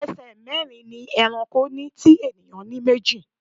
Ẹsẹ̀ mẹ́rin ni ẹranko ní tí ènìyàn ní méjì.